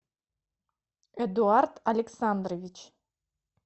эдуард александрович